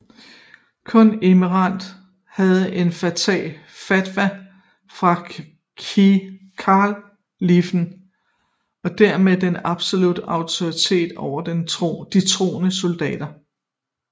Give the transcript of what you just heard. Kun emiren havde en fatwa fra kaliffen og dermed den absolutte autoritet over de troende soldater